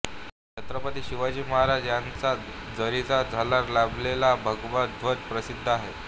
छत्रपती शिवाजी महाराज यांचा जरीची झालर लाभलेला भगवा ध्वज प्रसिद्ध आहे